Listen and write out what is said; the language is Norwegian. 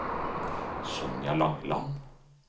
Sonja Langeland